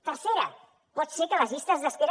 tercera pot ser que les llistes d’espera